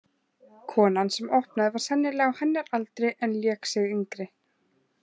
Konan sem opnaði var sennilega á hennar aldri en lék sig yngri.